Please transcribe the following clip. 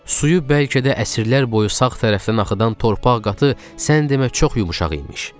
Suyu bəlkə də əsrlər boyu sağ tərəfdən axıdan torpaq qatı sən demə çox yumşaq imiş.